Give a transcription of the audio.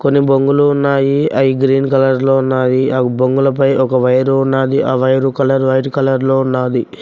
కొన్ని బొంగులు ఉన్నాయి అయి గ్రీన్ కలర్ లో ఉన్నాది ఆ బొంగులపై ఒక వైరు ఉన్నాది ఆ వైరు కలర్ వైట్ కలర్ లో ఉన్నాది.